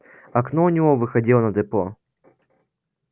окно у него выходило на депо